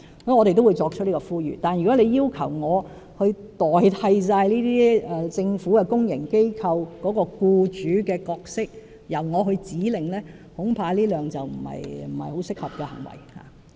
我們會作出這個呼籲，但如果議員要求我代替政府公營機構的僱主角色，由我發出指令，恐怕不太合適。